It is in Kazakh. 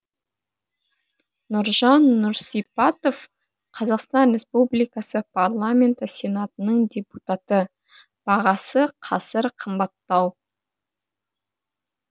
нұржан нұрсипатов қазақстан республикасы парламенті сенатының депутаты бағасы қазір қымбаттау